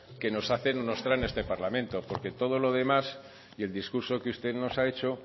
que nos hacen o nos traen a este parlamento porque todo lo demás y el discurso que usted nos ha hecho